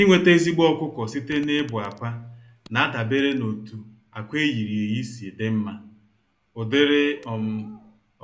Inweta ezigbo ọkụkọ site na ịbụ-akwa nadabere n'otu ákwà eyiri-eyi si dị mmá, ụdịrị um